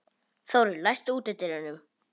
Þórir, læstu útidyrunum.